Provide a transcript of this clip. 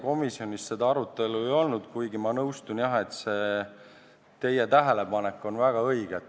Komisjonis seda arutelu ei olnud, kuigi ma nõustun, jah, et teie tähelepanek on väga õige.